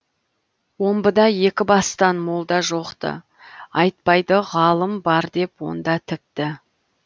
омбыда екі бастан молда жоқ ты айтпайды ғалым бар деп онда тіпті